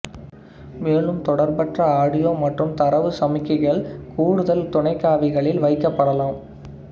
மேலும் தொடர்பற்ற ஆடியோ மற்றும் தரவுச் சமிக்ஞைகள் கூடுதல் துணைக்காவிகளில் வைக்கப்படலாம்